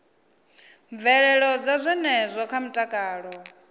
mvelelo dza zwenezwo kha mutakalo